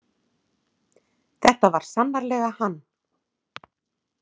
Þetta var sannarlega hann.